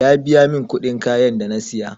Ya biya min kuɗin kayan da na siya